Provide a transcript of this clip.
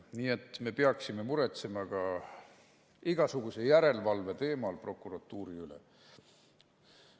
Nii et me peaksime muretsema ka igasuguse järelevalve teemal prokuratuuri üle.